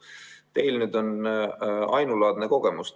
Teil on ainulaadne kogemus.